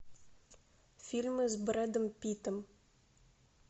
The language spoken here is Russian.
фильмы с брэдом питтом